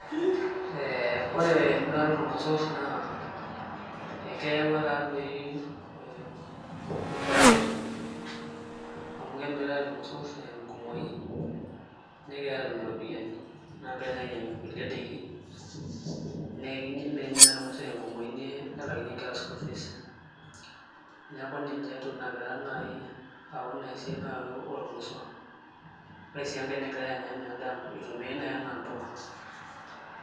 Eee ore emirate oormosor naa ee keyaua taadoii faida amu kemiritae irmosorr tenkumooii negira atum iropiyani naa ninche ninyangu kulie daiki naa menya naadii ormuzee te nkumoii, nelaakinyeki nkera sukuul fees neeku ninche naaji entoki nagira ayau inaa siaai oormosor, ore sii enkae nagirae sii anya enaa endaa eitumiae naaji enaa mbuka.